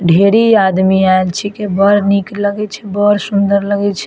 ढेरे आदमी आएल छे की बड़ निक लगे छे बड़ सुंदर लगे छे।